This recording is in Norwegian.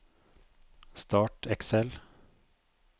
Start Excel